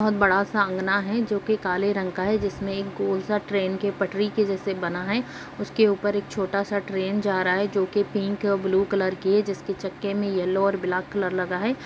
बहुत बड़ा सा अंगना है जो कि काले रंग का है जिसमे एक गोल सा ट्रेन की पटरी के जैसा बना है उसके ऊपर से एक छोटा सा ट्रेन जा रहा है जो के पिंक और ब्लू कलर की है जिसके चक्के में येलो और ब्लैक कलर लगा है।